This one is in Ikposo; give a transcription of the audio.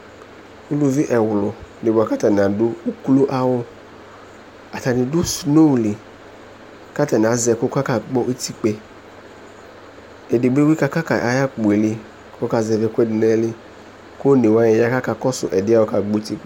Uluvi ɛwlʋ dɩ bʋa kʋ atanɩ adʋ ukloawʋ Atanɩ dʋ sno li kʋ atanɩ azɛ ɛkʋ kʋ akakpɔ utikpǝ yɛ Edigbo bɩ kakaka ayʋ akpo yɛ li kʋ ɔkazɛvɩ ɛkʋɛdɩ nʋ ayili kʋ one wanɩ ya kʋ akakɔsʋ ɛdɩ yɛ kʋ ɔkakpɔ uti